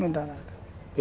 Não dá nada.